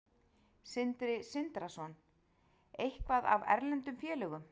Sindri Sindrason: Eitthvað af erlendum félögum?